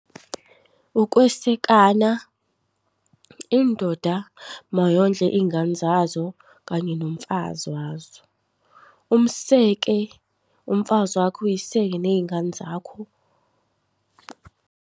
Ukwesekana, indoda mayondle iy'ngane zazo kanye nomfazi wazo. Umseke umfazi wakho, uy'seke ney'ngane zakho.